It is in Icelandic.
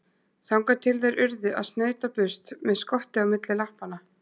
Þangað til þeir urðu að snauta burt með skottið milli lappanna.